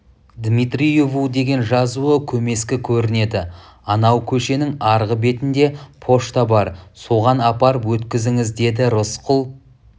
дмитриеву деген жазуы көмескі көрінеді анау көшенің арғы бетінде пошта бар соған апарып өткізіңіз деді рысқұл